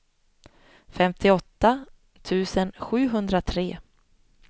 femtioåtta tusen sjuhundratre